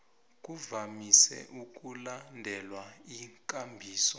kuvamise ukulandelwa ikambiso